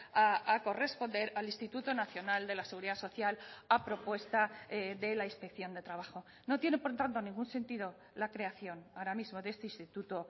a corresponder al instituto nacional de la seguridad social a propuesta de la inspección de trabajo no tiene por tanto ningún sentido la creación ahora mismo de este instituto